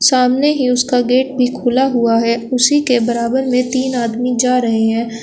सामने ही उसका गेट भी खुला हुआ है उसी के बराबर में तीन आदमी जा रहे हैं।